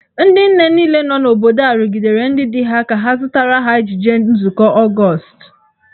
Ndị nne niile nọ n’obodo a rụgidere ndị di ha ka ha zụtara ha ejiji nzụkọ Ọgọọst.